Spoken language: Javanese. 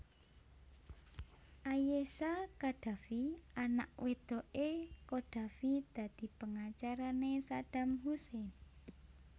Ayesha Khadafi anak wedoké Qaddafi dadi pengacarané Saddam Hussein